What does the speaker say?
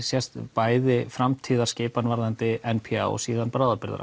bæði framtíðarskipan varðandi n p a og síðan